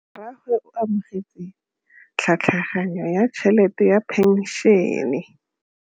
Rragwe o amogetse tlhatlhaganyô ya tšhelête ya phenšene.